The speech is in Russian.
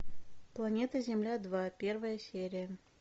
планета земля два первая серия